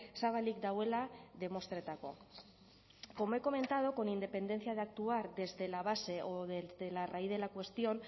zabalik dagoela demostretako como he comentado con independencia de actuar desde la base o desde la raíz de la cuestión